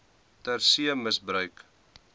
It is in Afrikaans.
ter see misbruik